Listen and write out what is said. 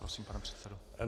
Prosím, pane předsedo.